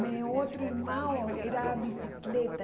Meu outro irmão era bicicleta.